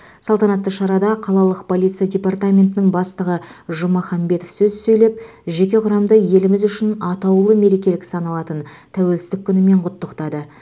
салтанатты шарада қалалық полиция департаментінің бастығы жумаханбетов сөз сөйлеп жеке құрамды еліміз үшін атаулы мереке саналатын тәуелсіздік күнімен құттықтады